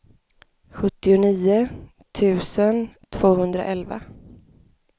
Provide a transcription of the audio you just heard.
sjuttionio tusen tvåhundraelva